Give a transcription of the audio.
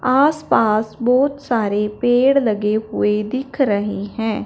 आसपास बहोत सारे पेड़ लगे हुए दिख रहे हैं।